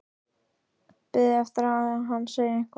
Beið eftir að hann segði eitthvað.